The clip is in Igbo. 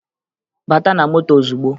Bata na moto ozugbo!